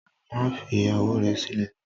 Má fi ìyàwó rẹ̀ sílẹ̀!